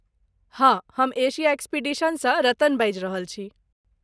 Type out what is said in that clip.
हँ। हम एशिया एक्सपीडिशनसँ रतन बाजि रहल छी।